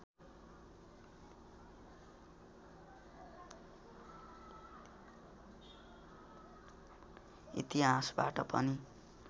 इतिहासबाट पनि